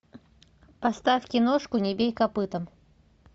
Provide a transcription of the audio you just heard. поставь киношку не бей копытом